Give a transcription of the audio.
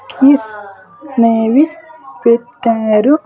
Keys అనేవి పెట్టారు.